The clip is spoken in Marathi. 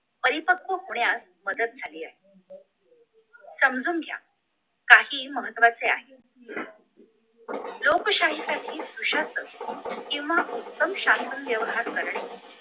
परिपक्व होण्यास मदत झाली आहे समजून घ्या काही महत्वाचे आहे लोकशाहीसाठी प्रशस्त किंवा उत्तम शाहीर करणे